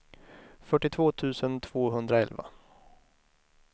fyrtiotvå tusen tvåhundraelva